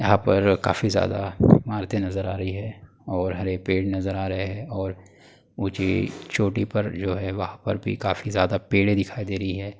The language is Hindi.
यहाँ पर काफी ज्यादा इमारतें नज़र आ रही हैं और हरे पेड़ नज़र आ रहें है और ऊँची चोटी पर जो है वहां पर भी काफी ज्यादा पेड़ें दिखाई दे रही हैं।